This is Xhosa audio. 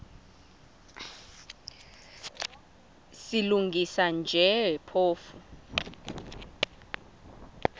silungisa nje phofu